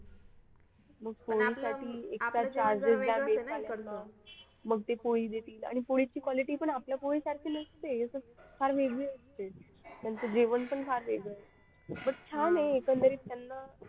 मग ते पोळी देतील आणि पोळीची quality पण आपल्या पोळी सारखे नसते इथे फार वेगळी असते त्यांचा जेवण पण फार वेगळं असतं. पण छान आहे एकंदरीत त्यांना